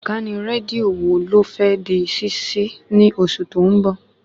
Ìkànnì rédíò wo ló fẹ́ di ṣíṣí ní oṣù tó ń bọ̀?